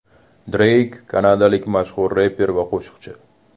Dreyk kanadalik mashhur reper va qo‘shiqchi.